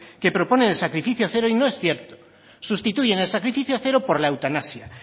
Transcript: que proponen el sacrificio cero y no es cierto sustituyen el sacrificio cero por la eutanasia